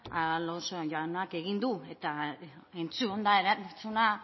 alonso jaunak egin du eta entzunda erantzuna